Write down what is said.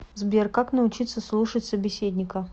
сбер как научиться слушать собеседника